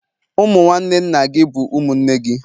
Ụmụ nwanne nna gị bụ ụmụnne gị